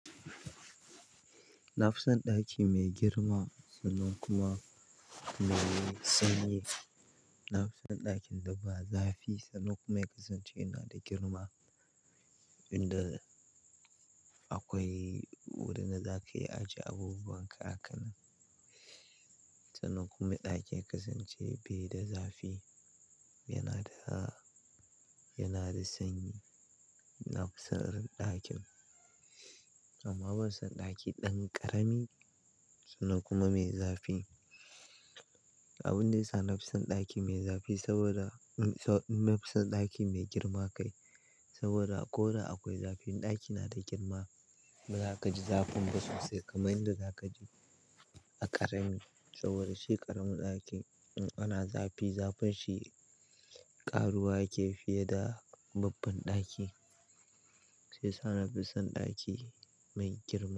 Na fi son ɗaki mai girma, sannan kuma mai sanyi. Na fi son ɗakin da ba zafi sannan kuma ya kasance yana da girma inda akwai wurin da za ka iya ajiye abubuwan ka haka Sannan kuma ɗakin ya kasance bai da zafi, yana da, yana da sanyi. Na fi son irin ɗakin. Amma ban son ɗaki ɗan ƙarami sannan kuma mai zafi. Abun da yasa na fi son ɗaki mai zafi saboda, na fi son ɗaki mai girma kai saboda ko da akwai zafi ɗakin yana da girma ba za ka ji zafin ba sosai kamar inda za ka ji a ƙarami. Saboda shi ƙaramin ɗakin in ana zafi, zafin shi ƙaruwa yake fiye da babban ɗaki. Shi yasa na fi son ɗaki mai girma.